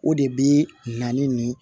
O de bi na ni